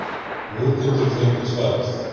Nú geturðu fengið svarið.